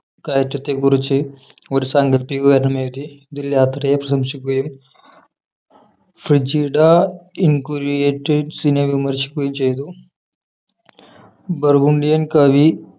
കയറ്റത്തെക്കുറിച്ച് ഒരു സാങ്കൽപ്പിക വിവരണം എഴുതി ഇതിൽ യാത്രയെ പ്രശംസിക്കുകയും ഫ്രിജിഡ ഇൻകുരിയേറ്റേഴ്സിനെ വിമർശിക്കുകയും ചെയ്തു ബർഗുണ്ടിയൻ കവി